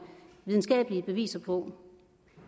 videnskabelige beviser på